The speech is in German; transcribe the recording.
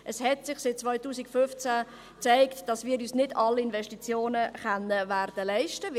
Es hat sich seit 2015 gezeigt, dass wir uns nicht alle Investitionen werden leisten können.